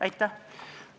Aitäh!